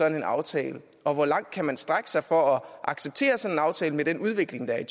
en aftale og hvor langt kan man strække sig for at acceptere sådan en aftale med den udvikling der er